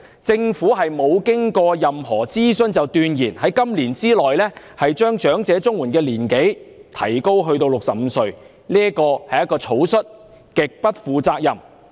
政府未經任何諮詢，便斷言會在今年內將領取長者綜援的合資格年齡提高至65歲，這是草率和極不負責任的決定。